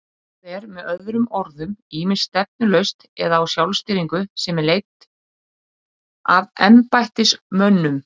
Það er með öðrum orðum ýmist stefnulaust eða á sjálfstýringu sem er leidd af embættismönnum.